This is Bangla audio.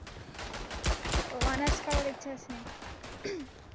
ও honours করার ইচ্ছা আছে?